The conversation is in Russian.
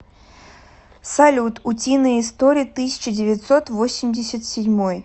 салют утиные истории тысяча девятьсот восемьдесят седьмой